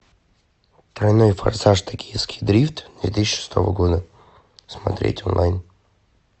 тройной форсаж токийский дрифт две тысячи шестого года смотреть онлайн